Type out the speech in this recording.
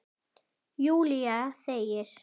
Júlía þegir.